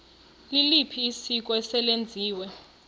liliphi isiko eselenziwe